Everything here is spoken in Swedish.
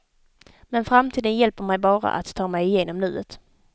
Men framtiden hjälper mig bara att ta mig igenom nuet.